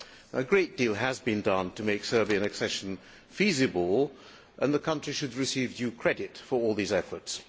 A great deal has been done to make Serbian accession feasible, and the country should receive due credit for all these efforts.